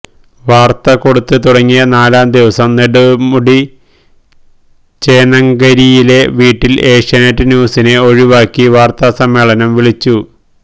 വാര്ത്ത കൊടുത്ത് തുടങ്ങിയ നാലാം ദിവസം നെടുമുടി ചേന്നങ്കരിയിലെ വീട്ടില് ഏഷ്യാനെറ്റ് ന്യൂസിനെ ഒഴിവാക്കി വാര്ത്താ സമ്മേളനം വിളിച്ചു